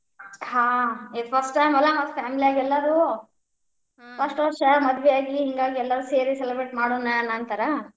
ಹಾ, ಇದ್ first time ಅಲಾ ಮತ್ family ಎಲ್ಲಾರೂ ವರ್ಷ್ ಮದ್ವಿ ಆಗಿ ಹಿಂಗಾಗಿ ಎಲ್ಲರೂ ಸೇರಿ celebrate ಮಾಡೋಣ ಅನ್ನಂತಾರ.